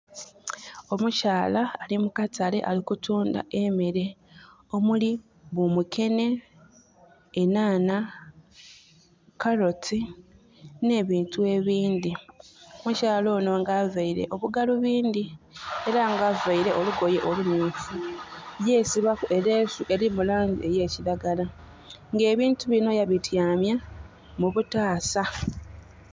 Omukyala ali mukatale alinkutundha emeere omuli bumukenhe, enanha, karoti ne bintu ebindhi. Omukyala ono nga avaire obugalubindhi era nga avaire olugoye olumyufu yesibaku eleesu eri mu langi eya kilagala, nga ebintu bino ya bityamya mu butaasa.